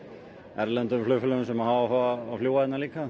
erlendum flugfélögum sem hafa áhuga á að fljúga hérna líka